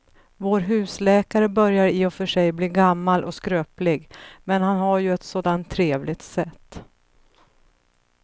Vår husläkare börjar i och för sig bli gammal och skröplig, men han har ju ett sådant trevligt sätt!